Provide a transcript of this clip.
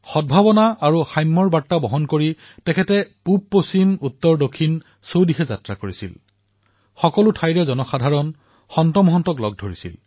সদ্ভাৱনা আৰু সমতাৰ বাৰ্তা লৈ তেওঁ উত্তৰ দক্ষিণ পূব অথবা পশ্চিম সকলোতে সন্ত আৰু ঋষিসকলক সাক্ষাৎ কৰিছিল